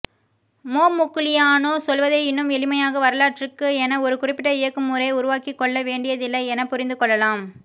Momigliano சொல்வதை இன்னும் எளிமையாக வரலாற்றுக்கு என ஒரு குறிப்பிட்ட இயக்கமுறையை உருவாக்கிக்கொள்ள வேண்டியதில்லை எனப் புரிந்துகொள்ளலாம்